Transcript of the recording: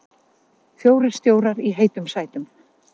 Fjórir stjórar í heitum sætum